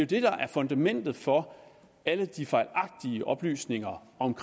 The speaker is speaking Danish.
det der er fundamentet for alle de fejlagtige oplysninger om